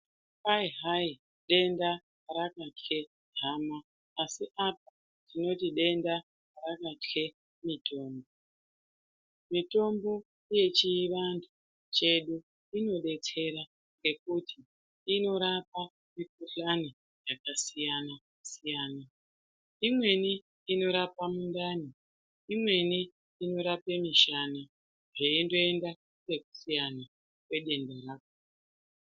Kwai hayi denda rakatye hama asi apa tinoti denda rakatye mitombo. Mitombo yechivantu chedu inodetsera ngekuti inorapa mikhuhlani yakasiyana siyana. Imweni inorapa mundani, imweni inorapa mishana zveindoenda nekusiyana kwedenda rako.